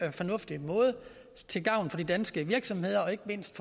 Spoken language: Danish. og fornuftig måde til gavn for de danske virksomheder og ikke mindst